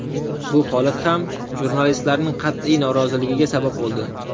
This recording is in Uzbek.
Bu holat ham jurnalistlarning qat’iy noroziligiga sabab bo‘ldi.